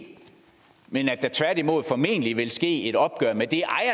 men at der tværtimod formentlig vil ske et opgør med det